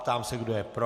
Ptám se, kdo je pro.